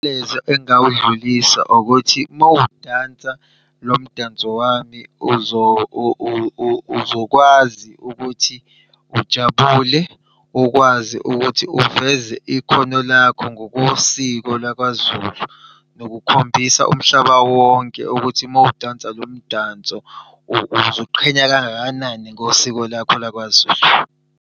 Umyalezo engingawudlulisa ukuthi uma udansa lo mdanso wami uzokwazi ukuthi ujabule. Ukwazi ukuthi uveze ikhono lakho ngokosiko lakwaZulu. Nanokukhombisa umhlaba wonke ukuthi uma udansa lo mdanso uziqhenya kangakanani ngosiko lakho lakwaZulu.